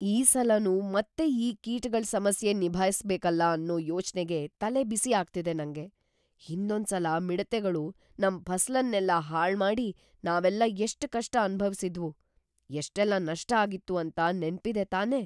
ಈ ಸಲನೂ ಮತ್ತೆ ಈ ಕೀಟಗಳ್ ಸಮಸ್ಯೆನ್ ನಿಭಾಯ್ಸ್‌ಬೇಕಲ್ಲ ಅನ್ನೋ ಯೋಚ್ನೆಗೇ ತಲೆಬಿಸಿ ಆಗ್ತಿದೆ ನಂಗೆ. ಹಿಂದೊಂದ್ಸಲ ಮಿಡತೆಗಳು ನಮ್‌ ಫಸಲನ್ನೆಲ್ಲ ಹಾಳ್ಮಾಡಿ ನಾವೆಲ್ಲ ಎಷ್ಟ್‌ ಕಷ್ಟ ಅನ್ಭವಿಸಿದ್ವು, ಎಷ್ಟೆಲ್ಲ ನಷ್ಟ ಆಗಿತ್ತು ಅಂತ ನೆನ್ಪಿದೆ ತಾನೇ?